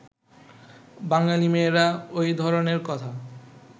বাঙালি মেয়েরা ওই ধরনের কথা